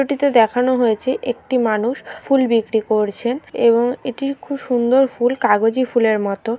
চিত্রটিতে দেখানো হয়েছে একটি মানুষ ফুল বিক্রি করছেন এবং এটি খুব সুন্দর ফুল কাগজি ফুলের মত।